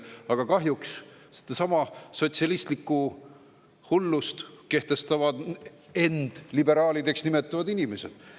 Aga kahjuks sedasama sotsialistlikku hullust kehtestavad end liberaalideks nimetavad inimesed.